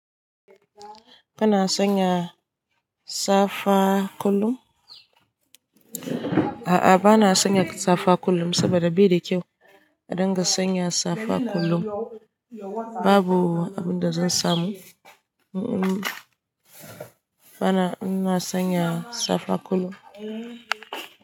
Kana sanya safa kullum? A'a bana sanya safa kullum saboda bai da kyau a dinga sanya safa kullum, babu abin da zan samu in bana sanya safa kullum.